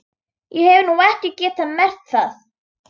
Ég hef nú ekki getað merkt það.